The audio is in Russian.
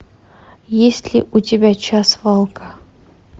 есть ли у тебя час волка